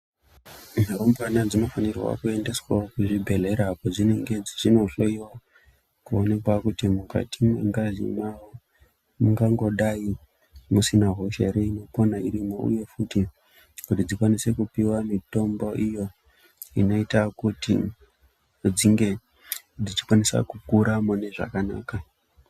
Rumbwana dzinofanirawo kuendeswa kuzvibhedhlera padzinenge dzeindo hloiwa kuonekwa kuti mukati mwengazi mawo mungangodai musina hosha irimo here uye futi kuti dzikwanise kupiwa mitombo iyo zvinoita kuti dzinge dzichikwanisa kukuraune zvakanaka.